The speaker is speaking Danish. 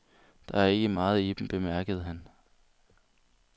Der er ikke meget i dem, bemærker han.